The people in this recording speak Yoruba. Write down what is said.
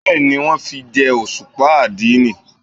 Bẹ́ẹ̀ni, wón fi jẹ́ òṣùpá àdínì.